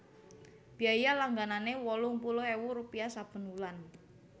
Biaya langganané wolung puluh ewu rupiah saben wulan